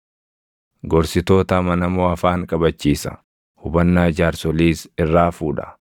Gorsitoota amanamoo afaan qabachiisa; hubannaa jaarsoliis irraa fuudha.